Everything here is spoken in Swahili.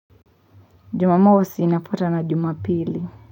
Jumamosi inafuatwa na jumapili.